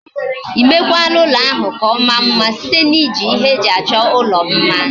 Imekwala ulo ahu ka omaa mma site na iji ihe eji acho ulo mma?